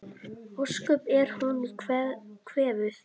Ósköp er hún kvefuð.